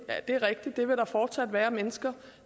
er rigtigt at der fortsat vil være mennesker